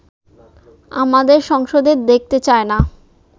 আমাদের সংসদে দেখতে চায় না